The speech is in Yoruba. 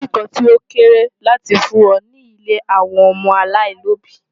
Ko sì nǹkan tó kéré láti fún wọn ní ilé àwọn ọmọ aláìlóbìí